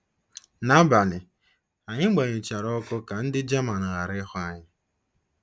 Nabalị, anyị gbanyụchara ọkụ ka ndị Jaman ghara ịhụ anyi.